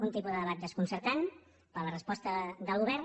un tipus de debat desconcertant per la resposta del govern